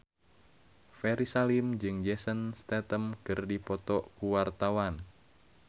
Ferry Salim jeung Jason Statham keur dipoto ku wartawan